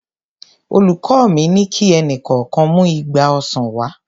Olùkọ́ mi ni kí ẹnì kọ̀ọ̀kan mú igba ọsàn wá.